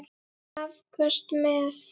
Afköst með